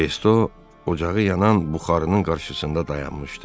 De Resto ocağı yanan buxarının qarşısında dayanmışdı.